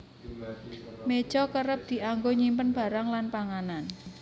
Méja kerep dianggo nyimpen barang lan panganan